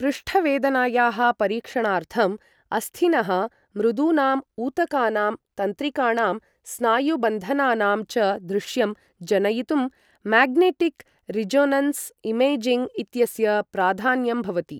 पृष्ठवेदनायाः परीक्षणार्थं, अस्थिनः, मृदूनाम् ऊतकानां, तन्त्रिकाणां स्नायुबन्धनानां च दृश्यं जनयितुम् मेग्नेटिक् रिजोनन्स् इमेजिङ्ग् इत्यस्य प्राधान्यं भवति।